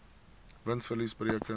wins verlies bereken